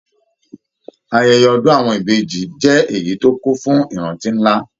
Ayẹyẹ ọdun àwọn Ìbejì jẹ èyí tó kún fún ìrántí nlá.